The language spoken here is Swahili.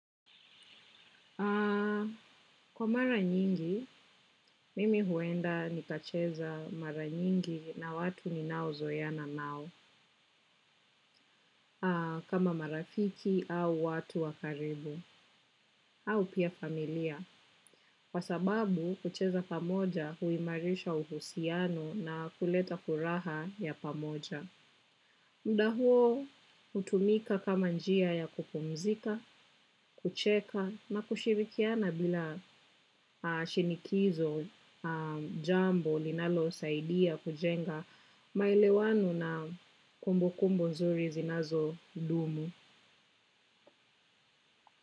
Kwa mara nyingi, mimi huenda nikacheza mara nyingi na watu ninaozoeana nao, kama marafiki au watu wa karibu, au pia familia, kwa sababu kucheza pamoja huimarisha uhusiano na kuleta furaha ya pamoja. Mda huo hutumika kama njia ya kupumzika, kucheka na kushirikiana bila shinikizo jambo linalosaidia kujenga maelewano na kumbukumbu nzuri zinazodumu.